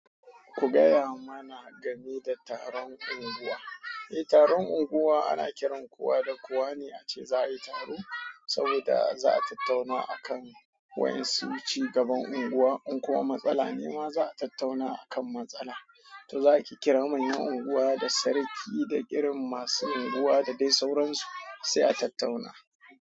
Ku gaya mana game da taron unguwa. Eh, taron unguwa ana kiran kowa da kowa ne ace za a yi taro, saboda za a tattauna akan wayan su cigaban unguwa. In kuma matsala ne ma, za a tattauna akan matsala. To za ki kira manyan unguwa da sarki da ƙirin masu unguwa da dai sauransu, sai a tattauna.